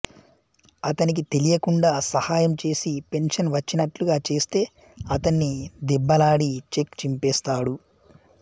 అతనికి తెలియకుండా సహాయం చేసి పెన్షన్ వచ్చినట్లుగా చేస్తే అతన్ని దెబ్బలాడి చెక్ చింపేస్తాడు